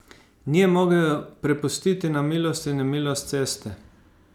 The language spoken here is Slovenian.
Ni je mogel prepustiti na milost in nemilost ceste.